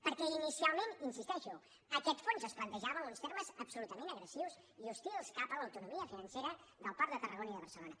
perquè inicialment hi insisteixo aquest fons es plantejava amb uns termes absolutament agressius i hostils cap a l’autonomia financera del port de tarragona i de barcelona